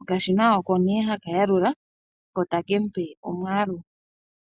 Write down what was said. okashina oko nee haha yalula ko take mupe omwaalu.